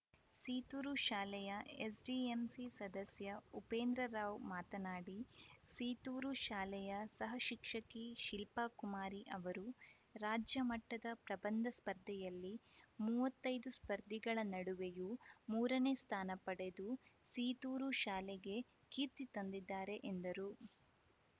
ಸೀತೂರು ಶಾಲೆಯ ಎಸ್‌ಡಿಎಂಸಿ ಸದಸ್ಯ ಉಪೇಂದ್ರ ರಾವ್‌ ಮಾತನಾಡಿ ಸೀತೂರು ಶಾಲೆಯ ಸಹಶಿಕ್ಷಕಿ ಶಿಲ್ಪಕುಮಾರಿ ಅವರು ರಾಜ್ಯ ಮಟ್ಟದ ಪ್ರಬಂಧ ಸ್ಪರ್ಧೆಯಲ್ಲಿ ಮೂವತ್ತೈದು ಸ್ಪರ್ಧಿಗಳ ನಡುವೆಯೂ ಮೂರನೇ ಸ್ಥಾನ ಪಡೆದು ಸೀತೂರು ಶಾಲೆಗೆ ಕೀರ್ತಿ ತಂದಿದ್ದಾರೆ ಎಂದರು